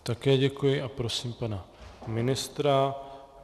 Také děkuji a prosím pana ministra.